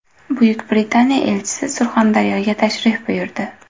Buyuk Britaniya elchisi Surxondaryoga tashrif buyurdi.